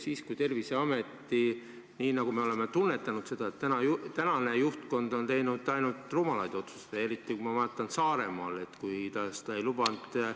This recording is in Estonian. Me oleme tunnetanud, et Terviseameti juhtkond on teinud ainult rumalaid otsuseid, eriti kui ma vaatan Saaremaad, kuidas ta ei lubanud ...